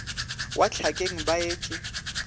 wa hlakeng ba et e